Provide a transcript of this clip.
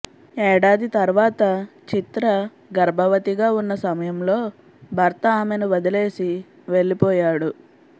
ఏడాది తర్వాత చిత్ర గర్భవతిగా ఉన్న సమయంలో భర్త ఆమెను వదిలేసి వెళ్లిపోయాడు